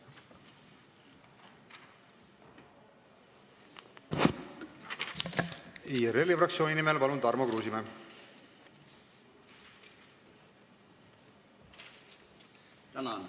Tarmo Kruusimäe IRL-i fraktsiooni nimel, palun!